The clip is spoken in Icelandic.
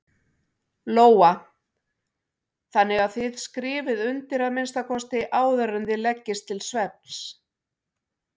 Lóa: Þannig að þið skrifið undir að minnsta kosti áður en þið leggist til svefns?